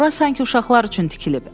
Ora sanki uşaqlar üçün tikilib.